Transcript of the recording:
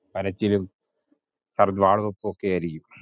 കരച്ചിലും വാള് വക്കും ഒക്കെ ആരിക്കും.